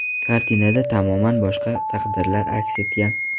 Kartinada tamoman boshqa taqdirlar aks etgan.